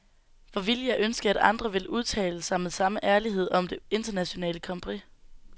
Hvor ville jeg ønske, at andre vil udtale sig med samme ærlighed om det nationale kompromis.